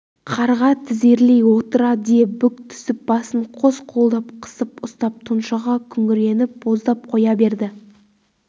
қарға тізерлей отыра де бүк түсіп басын қос қолдап қысып ұстап тұншыға күңіреніп боздап қоя берді